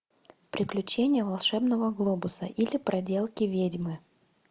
приключения волшебного глобуса или проделки ведьмы